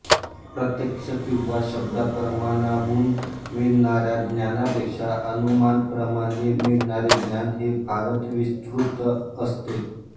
प्रत्यक्ष किंवा शब्दप्रमाणाहून मिळणाऱ्या ज्ञानापेक्षा अनुमानप्रमाणाने मिळणारे ज्ञान हे फारच विस्तृत असते